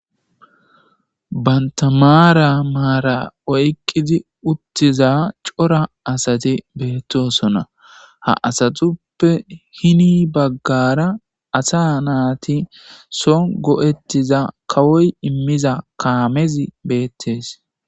Banta maara maara oyqqidi uttiza cora asati beettosona. Ha asatuppe hini baggara asa naati so go'ettiza kawoy immiza kaamezi beettes.